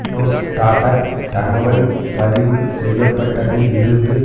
யூரோஸ்டாடட் தகவல் பதிவு செய்ய பட்டதில் இருந்து